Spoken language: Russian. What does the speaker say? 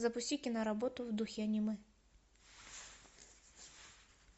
запусти киноработу в духе аниме